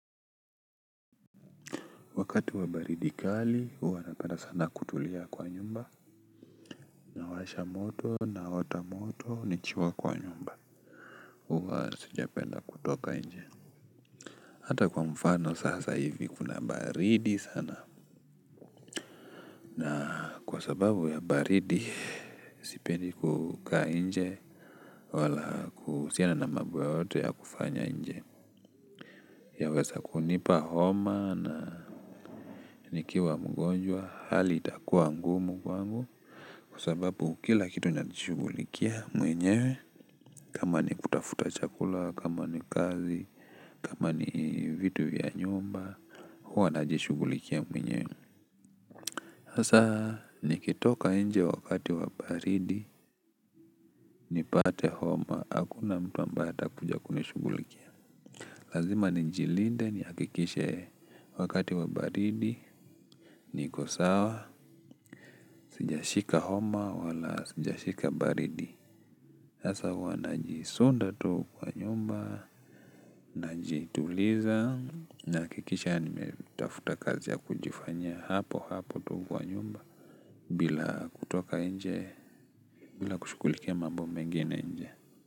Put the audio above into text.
Wakati wa baridi kali huwa napenda sana kutulia kwa nyumba. Nawasha moto, naota moto, nikiwa kwa nyumba huwa sijapenda kutoka nje. Hata kwa mfano sasa hivi kuna baridi sana, na kwa sababu ya baridi sipendi kukaa inje wala kuhusiana na mambo yoyote ya kufanya inje. Yaweza kunipa homa na nikiwa mgonjwa hali itakuwa ngumu kwangu. Kwa sababu kila kitu najishugulikia mwenyewe. Kama ni kutafuta chakula, kama ni kazi, kama ni vitu vya nyumba. Huwa najishugulikia mwenyewe. Hasa nikitoka nje wakati wa baridi nipate homa, hakuna mtu ambaye atakuja kunishugulikia. Lazima nijilinde nihakikishe wakati wa baridi. Niko sawa, sijashika homa wala sijashika baridi. Sasa huwa najisonda tu kwa nyumba, najituliza nahakikisha nimetafuta kazi ya kujifanyia hapo hapo tu kwa nyumba bila kutoka inje, bila kushughulikia mambo mengena inje.